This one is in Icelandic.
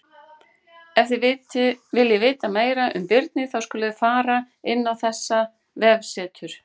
Ef þið viljið vita meira um birni þá skuluð þið fara inn á þetta vefsetur.